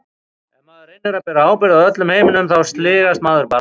Ef maður reynir að bera ábyrgð á öllum heiminum þá sligast maður bara.